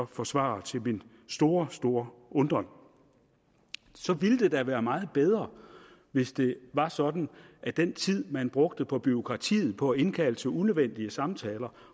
forsvarer til min store store undren så ville det da være meget bedre hvis det var sådan at den tid man brugte på bureaukratiet på at indkalde til unødvendige samtaler